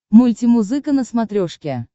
мультимузыка на смотрешке